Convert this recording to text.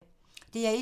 DR1